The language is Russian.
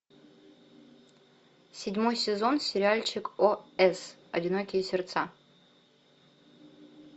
седьмой сезон сериальчик ос одинокие сердца